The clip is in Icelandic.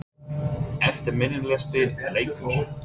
Eftirminnilegasti leikur?